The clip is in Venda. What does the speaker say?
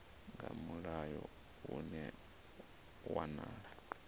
nga mulayo hune ha wanala